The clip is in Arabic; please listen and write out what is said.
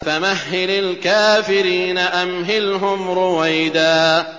فَمَهِّلِ الْكَافِرِينَ أَمْهِلْهُمْ رُوَيْدًا